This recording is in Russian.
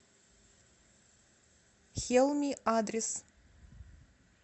хелми адрес